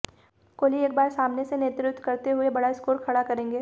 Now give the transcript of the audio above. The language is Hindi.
कोहली एक बार सामने से नेतृत्व करते हुए बड़ा स्कोर खड़ा करेंगे